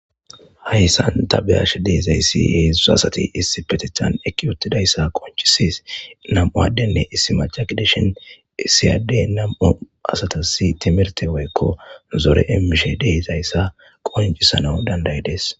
Hayssan tha be7ashe de7izayssi heezzu asathi issipetheththan eqqidi 7uthtidayssa qonccisses; nam7u addenne issi macca gidishin issi addee nam7u asathassi thimirththe woykko zore immishe de7izayssa qonccissanawu danddayi des.